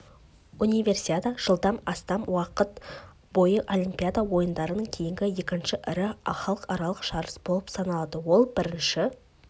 универсиада жылдан астам уақыт бойы олимпиада ойындарынан кейінгі екінші ірі халықаралық жарыс болып саналады ол бірінші